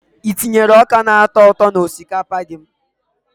I na-etinye ọka na-atọ ụtọ n'osikapa gị?